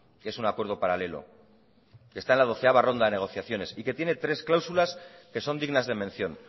que es un acuerdo paralelo que está en la doceava ronda de negociaciones y que tiene tres cláusulas que son dignas de mención